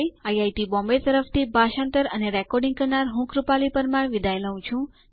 IIT Bombay તરફથી ભાષાંતર કરનાર હું કૃપાલી પરમાર વિદાય લઉં છું